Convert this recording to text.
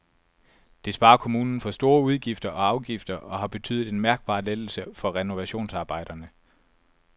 Det sparer kommunen for store udgifter og afgifter og har betydet en mærkbar lettelse for renovationsarbejderne.